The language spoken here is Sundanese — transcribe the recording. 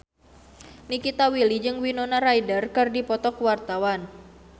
Nikita Willy jeung Winona Ryder keur dipoto ku wartawan